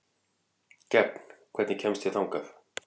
Gefn, hvernig kemst ég þangað?